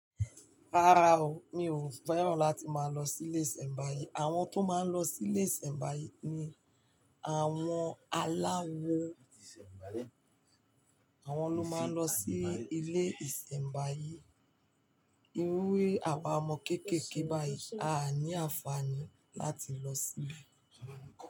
Rárá o, mi ò fẹ́ràn láti máa lọ sí ilé ìsẹ̀mbáyé. Àwọn tó máa ń lọ sí ilé ìsẹ̀mbáyé ni àwọn aláwo. Àwọn ló máa ń lọ sí ilé ìsẹ̀mbáyé. Irúwe àwa ọmọ kéékèèké báyìí a ní àǹfààní láti lọ síbẹ̀